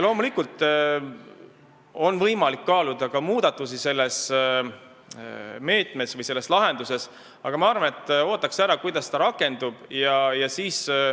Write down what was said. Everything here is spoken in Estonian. Loomulikult on võimalik kaaluda ka muudatusi selles meetmes või lahenduses, aga ma arvan, et võiks selle rakendumise ära oodata.